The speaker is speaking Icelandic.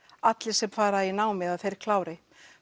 allir sem fara í námið þeir klári